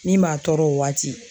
Min b'a tɔɔrɔ o waati